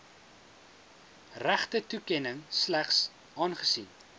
regtetoekenning slegs aangesien